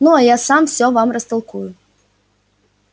ну а я сам всё вам растолкую